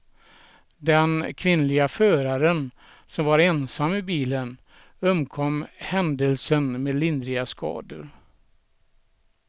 Den kvinnliga föraren som var ensam i bilen undkom händelsen med lindriga skador.